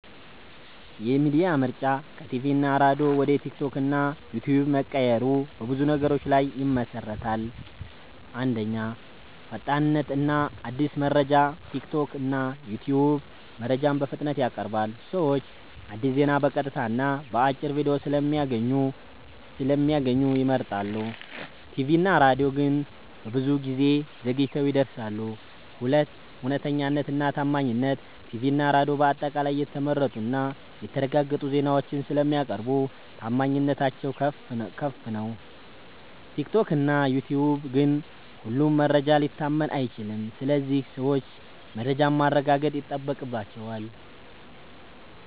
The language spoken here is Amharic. የሚዲያ ምርጫ ከቲቪ እና ሬዲዮ ወደ ቲክቶክ እና ዩትዩብ መቀየሩ በብዙ ነገሮች ላይ ይመሠረታል። 1. ፈጣንነት እና አዲስ መረጃ ቲክቶክ እና ዩትዩብ መረጃን በፍጥነት ያቀርባሉ። ሰዎች አዲስ ዜና በቀጥታ እና በአጭር ቪዲዮ ስለሚያገኙ ይመርጣሉ። ቲቪ እና ሬዲዮ ግን ብዙ ጊዜ ዘግይተው ይደርሳሉ። 2. እውነተኛነት እና ታማኝነት ቲቪ እና ሬዲዮ በአጠቃላይ የተመረጡ እና የተረጋገጡ ዜናዎችን ስለሚያቀርቡ ታማኝነታቸው ከፍ ነው። ቲክቶክ እና ዩትዩብ ግን ሁሉም መረጃ ሊታመን አይችልም ስለዚህ ሰዎች መረጃን ማረጋገጥ ይጠበቅባቸዋል።